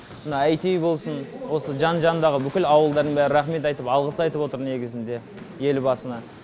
мына әйти болсын осы жан жанындағы бүкіл ауылдың бәрі рахмет айтып алғыс айтып отыр негізінде елбасына